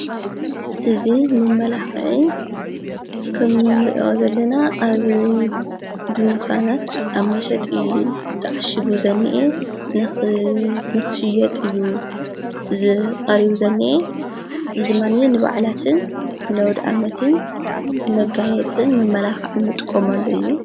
እዚ መመላኽዒ ንርእዮ ዘለና ኣብ ዱንካናት ኣብ መሰጥ ጠዕሽጉ ዘኒአ ንኽሽየጥ እዩ ዝቓሪዩ ዘኒአ ዝድማንየ ንባዕላትን ነዉድኣመትን መጋየፅን መመላኽዒ ምጥቆም ኣሉ እዩ።